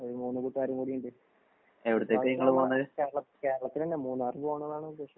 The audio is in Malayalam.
ഒര് മൂന്ന് കൂട്ടുകാരും കൂടിയുണ്ട്. കേരള കേരളത്തിലെന്നെ മൂന്നാറ് പോണന്നാണ് ഉദ്ദേശം.